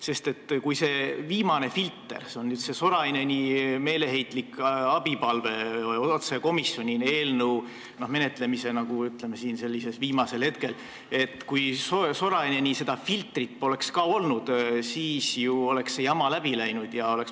Sest kui seda viimast filtrit, Soraineni meeleheitlikku abipalvet otse komisjonile eelnõu menetlemise, ütleme, viimasel hetkel poleks olnud, siis oleks see jama ju läbi läinud.